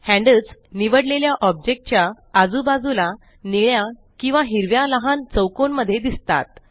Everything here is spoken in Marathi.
हैन्ड्ल्स निवडलेल्या ऑब्जेक्ट च्या आजू बाजूला निळ्या किंवा हिरव्या लहान चौकोन मध्ये दिसतात